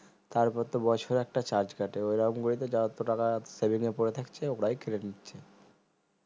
তারপর তো বছরে একটা charge কাটে ঐরকম করেই তো যত টাকা seving এ পরে থাকছে ওরাই কেটে নিচ্ছে